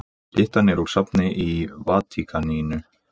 Styttan er úr safni í Vatíkaninu.